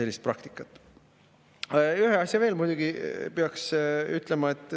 Muidugi peaks ühe asja veel ütlema.